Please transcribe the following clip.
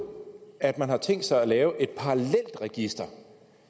at man har tænkt sig at lave et parallelt register